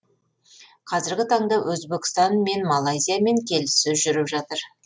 қазіргі таңда өзбекстан мен малайзиямен келіссөз жүріп жатыр